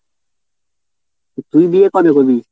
তুই বিয়ে কবে করবি?